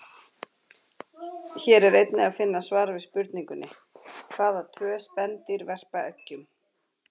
Hér er einnig að finna svar við spurningunni: Hvaða tvö spendýr verpa eggjum?